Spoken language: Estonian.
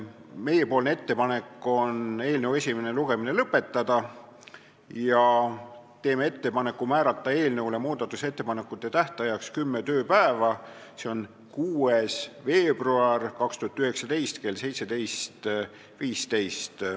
Meie ettepanek on eelnõu esimene lugemine lõpetada ja määrata muudatusettepanekute tähtajaks kümme tööpäeva, seega tähtpäev on 6. veebruar 2019 kell 17.15.